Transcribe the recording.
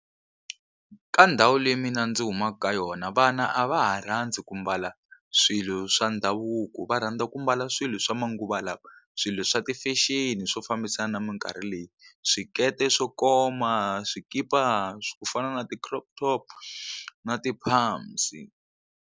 Ka ndhawu leyi mina ndzi humaka ka yona vana a va ha rhandzi ku mbala swilo swa ndhavuko va rhandza ku mbala swilo swa manguva lawa swilo swa ti-fashion swo fambisana na minkarhi leyi swikete swo koma swikipa ku fana na ti-crop top na ti-pumps.